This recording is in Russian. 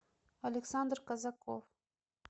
александр казаков